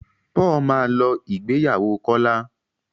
Paul má lọ ìgbéyàwó Kola